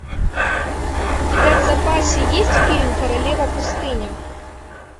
у тебя в запасе есть фильм королева пустыни